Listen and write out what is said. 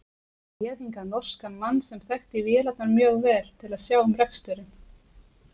Ég réð hingað norskan mann, sem þekkti vélarnar mjög vel, til að sjá um reksturinn.